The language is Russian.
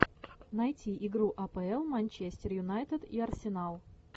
найти игру апл манчестер юнайтед и арсенал